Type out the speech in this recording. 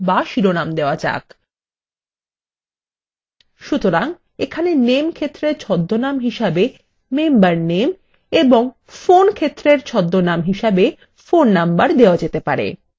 সুতরাং এখানে name ক্ষেত্রের ছদ্মনাম হিসেবে member name এবং ফোন ক্ষেত্রের ছদ্মনাম হিসেবে phone number দেওয়া যেতে পারে